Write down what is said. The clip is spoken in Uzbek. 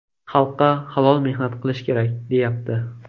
Xalqqa halol mehnat qilish kerak, deyapti.